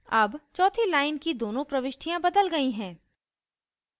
अब चौथी line की दोनों प्रविष्टियाँ बदल गयी हैं